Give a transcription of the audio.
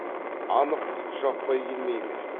анық жұт жаппай келмей ме